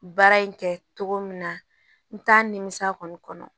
Baara in kɛ cogo min na n t'a nimisa kɔni kɔnɔ